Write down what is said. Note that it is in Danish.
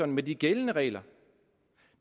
med de gældende regler